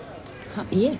ha ég